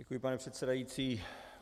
Děkuji, pane předsedající.